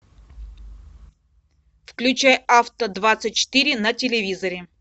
включай авто двадцать четыре на телевизоре